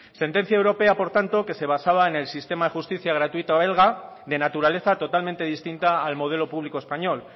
sentencia europea por tanto que se basaba en el sistema de justicia gratuita belga de naturaleza totalmente distinta al modelo público español